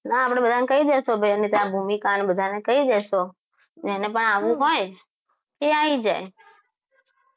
ના આપણે બધા કહી દઈશું આપણે ભૂમિકા અને બધાને કે આપણે જેને પણ આવવું હોય એ આવી જાય